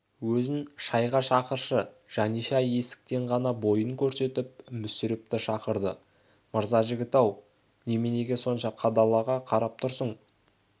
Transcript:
өзін шайға шақыршы жаниша есіктен ғана бойын көрсетіп мүсірепті шақырды мырзажігіт-ау неменеге сонша қадала қарап тұрсың